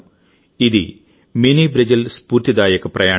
ఇది mini Brazil స్ఫూర్తిదాయక ప్రయాణం